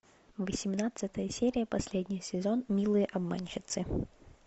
восемнадцатая серия последний сезон милые обманщицы